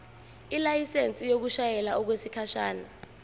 ilayisensi yokushayela okwesikhashana